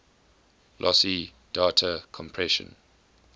lossy data compression